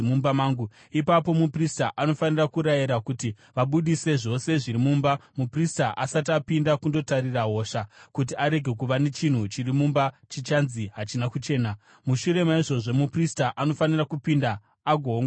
Ipapo muprista anofanira kurayira kuti vabudise zvose zviri mumba muprista asati apinda kundotarira hosha, kuti kurege kuva nechinhu chiri mumba chichanzi hachina kuchena. Mushure maizvozvo muprista anofanira kupinda agoongorora imba.